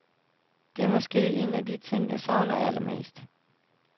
Det er måske en af de ting jeg savner allermest.